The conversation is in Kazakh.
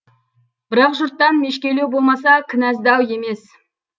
бірақ жұрттан мешкейлеу болмаса кінәздау емес